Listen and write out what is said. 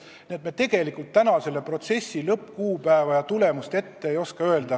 Nii et tegelikult me täna kogu protsessi lõppkuupäeva ja tulemust ette ei oska öelda.